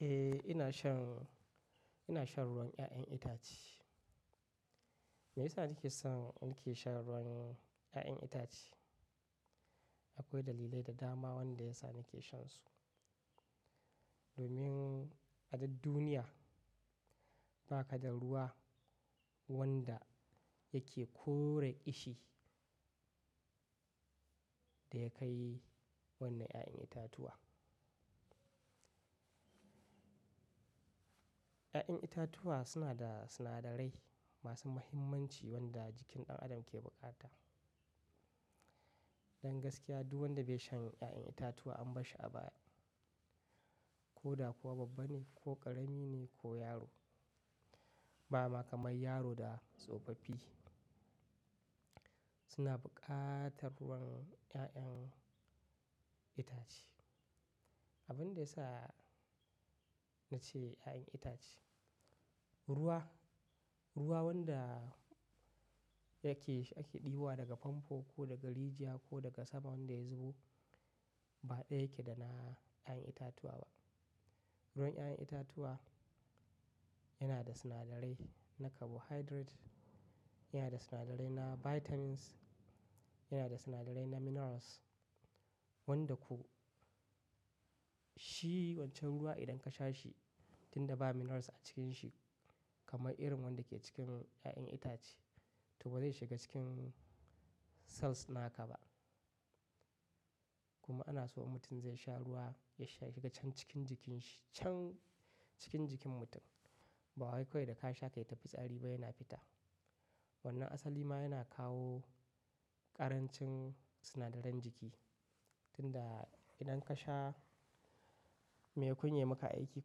Eh ina shan, ina shan ruwan 'ya'yan itace. Me yasa nake son in ke shan ruwan 'ya'yan itace? Akwai dalilai da dama wanda yasa nake shansu. Domin a duk duniya ba ka da ruwa wanda yake kore ƙishi da ya kai wannan 'ya'yan itatuwa. 'Ya'yan itatuwa suna da sinadarai masu muhimmanci wanda jikin ɗan adam ke bukata. Don gaskiya duk wanda bai shan 'ya'yan itatuwa an bashi abaya. Ko da kuwa babba ne ko ƙarami ne ko yaro. Bama kamar yaro da tsofaffi suna buƙatar ruwan 'ya'yan itace. Abin da ya sa na ce 'ya'yan itace, ruwa, ruwa wanda yake, ake ɗibowa daga famfo ko daga rijiya ko daga sama wanda ya zubo ba ɗaya yake da na 'ya'yan itatuwa ba. Ruwan 'ya'yan itatuwa yana da sinadarai na carbohydrate, yana da sinadarai na vitamins, yana da sinadarai na minerals wanda ko shi wancan ruwa idan ka sha shi tunda ba minerals a cikin shi kamar irin wanda ke cikin 'ya'yan itace to ba zai shiga cikin cells naka ba. Kuma ana so idan mutum zai sha ruwa ya shiga can cikin jikin shi, can cikin jikin mutum. Ba wai kawai da ka sha kai ta fitsari ba yana fita. Wannan asali ma yana kawo ƙarancin sinadaran jiki. Tunda idan ka sha, maimakon yayi maka aiki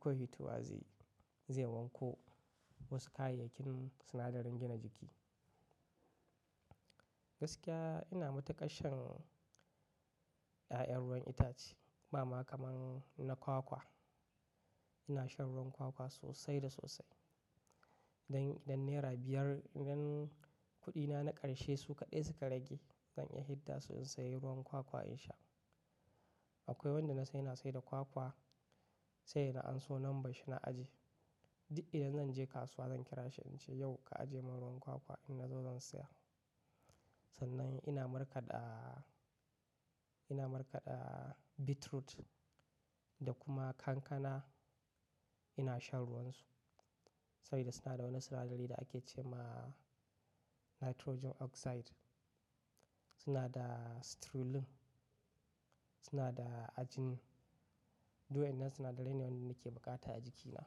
kawai fitowa zaiyi, zai wanko wasu kayayyakin sinadaran gina jiki. Gaskiya ina matuƙar shan 'ya'yan ruwan itace. Bama kaman na kwakwa. Ina shan ruwan kwakwa sosai da sosai. Idan, idan naira biyar, idan kuɗina na ƙarshe su kaɗai suka rage zan iya fidda su in sayi ruwan kwakwa in sha. Akwai wanda na san yana saida kwakwa sai da na amso numbarshi na aje. Duk idan zan je kasuwa zan kira shi in ce yau ka aje mun ruwan kwakwa in na zo zan siya. Sannan ina markaɗa, ina markaɗa beetroot da kuma kankana ina shan ruwan su. Saboda suna da wani sinadari da ake ce ma nitrogen oxide. Suna da streulin, suna da ajin. Duk wannan sinadarai ne wanda nake bukata a jikina.